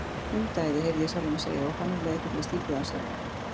Hundaæði, heyrði ég sjálfan mig segja, og fann um leið hvernig ég stífnaði af skelfingu.